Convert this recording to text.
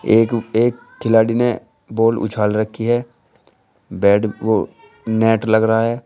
एक एक खिलाड़ी ने बॉल उछाल रखी है बैट नेट लग रहा है।